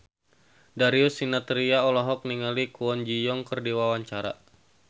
Darius Sinathrya olohok ningali Kwon Ji Yong keur diwawancara